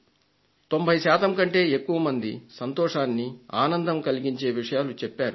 90 శాతం కంటే ఎక్కువ మంది సంతోషాన్ని ఆనందం కలిగించే విషయాలు తెలిపారు